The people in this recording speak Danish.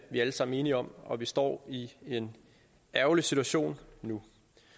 vi alle sammen enige om og vi står i en ærgerlig situation nu